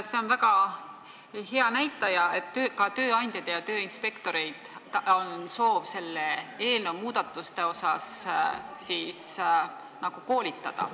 See on väga hea näitaja, et ka tööandjaid ja tööinspektoreid on soov selle eelnõu muudatuste teemal koolitada.